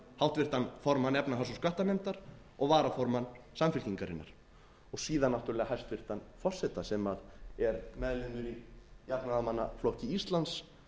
háttvirtan formann efnahags og skattanefndar og varaformann samfylkingarinnar og síðan náttúrlega hæstvirts forseta sem er meðlimur í jafnaðarmannaflokki íslands